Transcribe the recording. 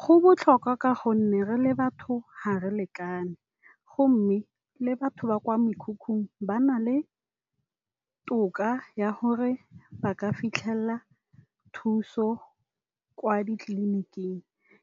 Go botlhokwa, ka gonne re le batho ga re lekane. Go mme le batho ba kwa mekhukhung ba na le toka ya gore ba ka fitlhelela thuso kwa ditleliniking.